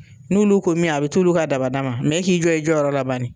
N'olu ko min a be t'olu ka dabada ma. E k'i jɔ i jɔyɔrɔ la bani.